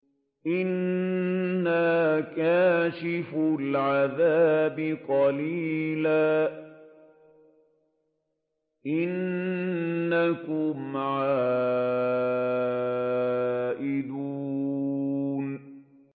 إِنَّا كَاشِفُو الْعَذَابِ قَلِيلًا ۚ إِنَّكُمْ عَائِدُونَ